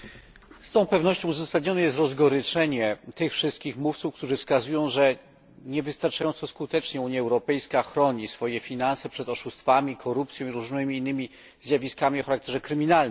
Z całą pewnością uzasadnione jest rozgoryczenie tych wszystkich mówców, którzy wskazują, że nie wystarczająco skutecznie Unia Europejska chroni swoje finanse przed oszustwami, korupcją i różnymi innymi zjawiskami o charakterze kryminalnym.